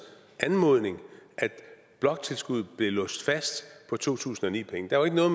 anmodning at bloktilskuddet blev låst fast på to tusind og ni penge der var ikke noget